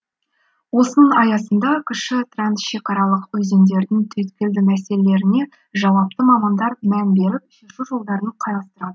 осының аясында кіші трансшекаралық өзендердің түйткілді мәселелеріне жауапты мамандар мән беріп шешу жолдарын қарастырады